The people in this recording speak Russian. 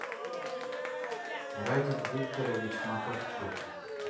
радик викторович макарчук